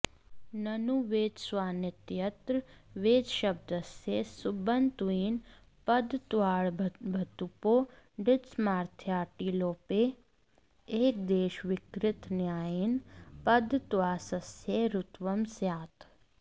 ननु वेतस्वानित्यत्र वेतसशब्दस्य सुबन्तत्वेन पदत्वात्ङ्भतुपो डित्त्वसामथ्र्याट्टिलोपे एकदेशविकृतन्यायेन पदत्वात्सस्य रुत्वं स्यात्